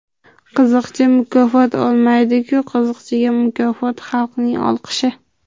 Qiziqchi mukofot olmaydi-ku, qiziqchiga mukofot xalqning olqishi.